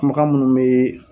Kumakan ninnu bɛ